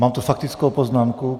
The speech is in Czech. Mám tu faktickou poznámku.